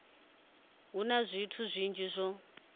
hu na zwithu zwinzhi zwo